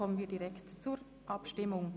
Wir kommen zur Abstimmung.